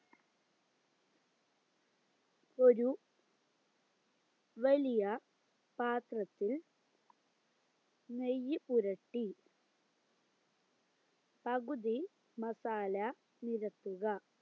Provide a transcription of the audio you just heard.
ഒര് വലിയ പാത്രത്തിൽ നെയ്യ് പുരട്ടി പകുതി മസാല നിരത്തുക